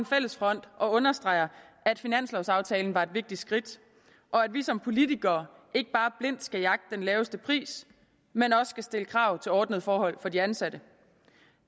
fælles front og understreger at finanslovsaftalen var et vigtigt skridt og at vi som politikere ikke bare blindt skal jagte den laveste pris men også skal stille krav til ordnede forhold for de ansatte